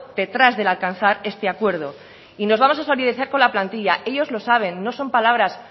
detrás de alcanzar este acuerdo y nos vamos a solidarizar con la plantilla ellos lo saben no son palabras